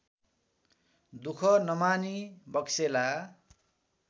दुख नमानी बक्सेला